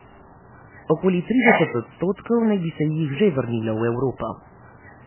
Okoli trideset odstotkov naj bi se jih že vrnilo v Evropo.